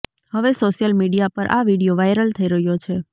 હવે social media પર આ વિડીયો વાઈરલ થઈ રહ્યો છે